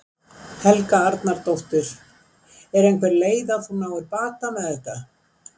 Helga Arnardóttir: Er einhver leið að þú náir bata með þetta?